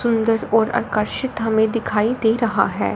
अंदर और आकर्षित हमें दिखाई दे रहा है।